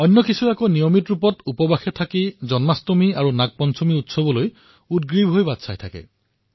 বহুতে নিয়মিত ৰূপত উপবাস ৰাখে আৰু উৎসাহেৰে জন্মাষ্টমী তথা নাগ পঞ্চমীৰ দৰে উৎসৱলৈ অপেক্ষা কৰে